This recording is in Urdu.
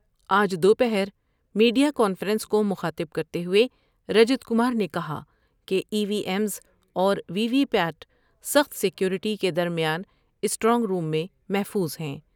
آج دو پہر میڈیا کانفرنس کو مخاطب کرتے ہوۓ رجت کمار نے کہا کہ ای وی ایمز اور وی وی پیاٹ سخت سیکور بیٹی کے درمیان اسٹرانگ روم میں محفوظ ہیں ۔